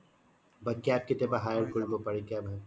বা cab কেতিয়া বা hire কৰিব পাৰি cab